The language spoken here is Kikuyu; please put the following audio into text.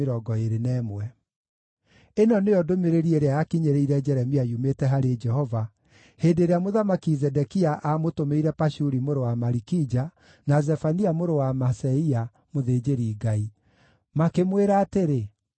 Ĩno nĩyo ndũmĩrĩri ĩrĩa yakinyĩrĩire Jeremia yumĩte harĩ Jehova, hĩndĩ ĩrĩa Mũthamaki Zedekia amũtũmĩire Pashuri mũrũ wa Malikija, na Zefania mũrũ wa Maaseia mũthĩnjĩri-Ngai. Makĩmwĩra atĩrĩ: